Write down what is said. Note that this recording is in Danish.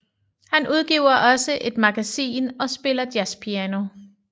Han udgiver også et magasin og spiller jazzpiano